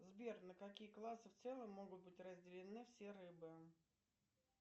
сбер на какие классы в целом могут быть разделены все рыбы